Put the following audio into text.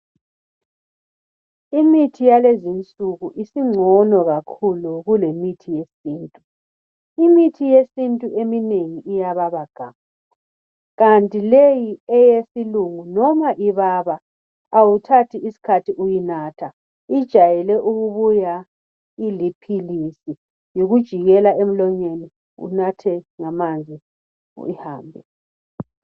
Imithi yalezi nsuku singcono kakhulu , kulemithi yesintu , imithi yesintu eminengi iyababa gamu kanti leyi eyesilungu noma ibaba awuthathi iskhathi uyinatha , ijayele ukubuya iliphilisi , yikujikela emlonyeni unathe ngamanzi ihambe